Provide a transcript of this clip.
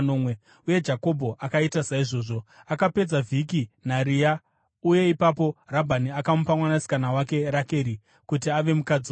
Uye Jakobho akaita saizvozvo. Akapedza vhiki naRea, uye ipapo Rabhani akamupa mwanasikana wake Rakeri kuti ave mukadzi wake.